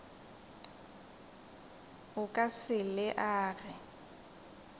o ka se le age